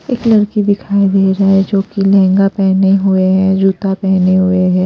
एक लड़की दिखाई दे रहा है जो कि लहंगा पहने हुए हैं जूता पहनी हुए हैं।